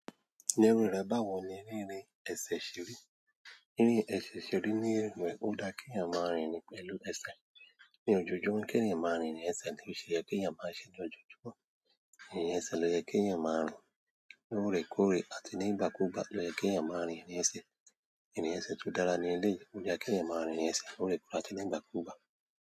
Ni ero rẹ báwo ni rírìn ẹ̀sẹ̀ ṣírí. Rinrin ẹ̀sẹ̀ ṣe rí ni irin ó dá kí èèyàn máa rìn ni pẹ̀lú ẹsẹ̀. Ní ojoojúmọ́ kí èèyàn máa rìn irin ẹsẹ̀ kii ṣe yẹ kí èèyàn má ṣe ní ojoojúmọ́. Irin ẹsẹ̀ ló yẹ kí èèyàn máa rìn lóorekoorẹ́ àti ní ìgbàkúgbà ló yẹ kí èèyàn máa irìn ẹsẹ̀. Irin ẹsẹ̀ tó dára ni eleyii o yẹ kí èèyàn máa rìn irin ẹsẹ̀ lóorekoọrẹ́ àti ní ìgbàkúgbà.